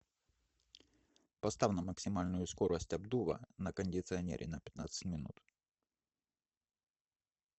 поставь на максимальную скорость обдува на кондиционере на пятнадцать минут